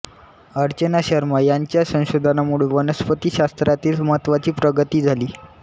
अर्चना शर्मा यांच्या संशोधनामुळे वनस्पतिशास्त्रातील महत्वाची प्रगती झाली